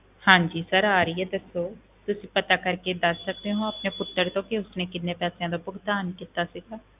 ਹਾਂਜੀ sir ਆ ਰਹੀ ਹੈ ਦੱਸੋ, ਤੁਸੀਂ ਪਤਾ ਕਰਕੇ ਦੱਸ ਸਕਦੇ ਹੋ ਆਪਣੇ ਪੁੱਤਰ ਤੋਂ ਕਿ ਉਸਨੇ ਕਿੰਨੇ ਪੈਸਿਆਂ ਦਾ ਭੁਗਤਾਨ ਕੀਤਾ ਸੀਗਾ,